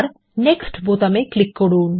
next বোতামে click করুন